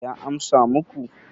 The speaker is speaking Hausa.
ya amsa muku